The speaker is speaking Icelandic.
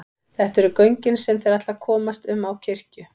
Þetta eru göngin sem þeir ætla að komast um á kirkju.